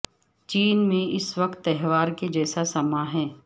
چین میں اس وقت تہوار کے جیسا سماں ہے